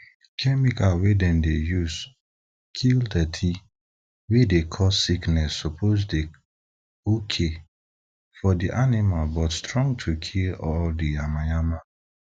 chemical wey dem dey use kill dirty wey dey cause sickness suppose dey okay for di animal but strong to kill all di yamayama